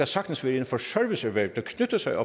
sagtens være inden for serviceerhverv der knytter sig